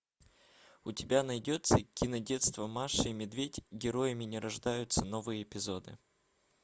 у тебя найдется кинодетство маша и медведь героями не рождаются новые эпизоды